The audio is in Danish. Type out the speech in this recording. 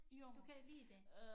Du kan lide det